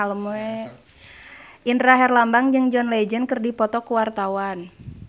Indra Herlambang jeung John Legend keur dipoto ku wartawan